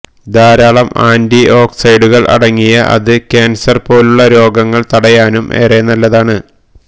ധാരാളം ആന്റിഓക്സിഡന്റുകള് അടങ്ങിയ ഇത് ക്യാന്സര് പോലുള്ള രോഗങ്ങള് തടയാനും ഏറെ നല്ലതാണ്